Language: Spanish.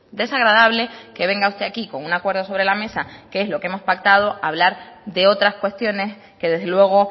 desagradable que venga usted aquí con un acuerdo sobre la mesa que es lo que hemos pactado a hablar de otras cuestiones que desde luego